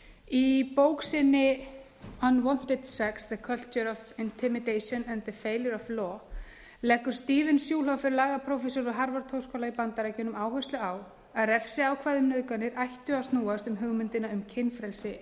í bók sinni unwanted sex the culture of intimidation and the failure of law leggur stephen schulhofer lagaprófessor við harvard háskóla í bandaríkjunum áherslu á að refsiákvæði um nauðganir ættu að snúast um hugmyndina um kynfrelsi